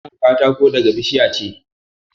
Ana samun katako daga bishiya ce